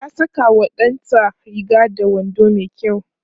ta Saka wa ɗanta Riga da wando mai kyau